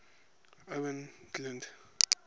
owain glynd